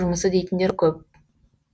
жұмысы дейтіндер көп